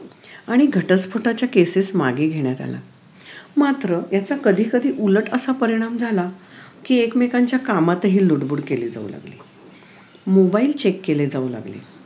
आणि घटस्फोटाच्या cases मागे घेण्यात आल्या मात्र याचा कधी कधी उलटअसा परिणाम झाला कि एकमेकांच्या कामातही लुडबुड केली जाऊ लागली mobile check केले जाऊ लागले